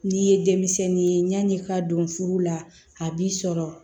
N'i ye denmisɛnnin ye yani i k'a don furu la a b'i sɔrɔ